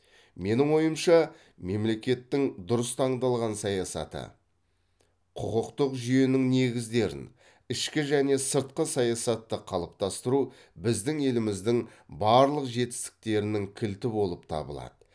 менің ойымша мемлекеттің дұрыс таңдалған саясаты құқықтық жүйенің негіздерін ішкі және сыртқы саясатты қалыптастыру біздің еліміздің барлық жетістіктерінің кілті болып табылады